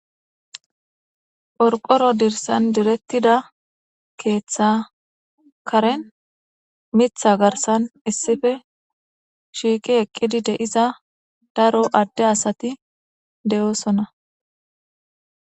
Qorqoro dirsan diretida ketha Karen mitha garsan issippe shiqi eqidi de'iza daro Ade asati de'osona